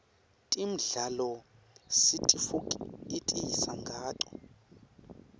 temidlalo sitifokotisa nqato